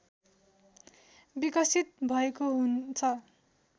विकसित भएको हुन्छ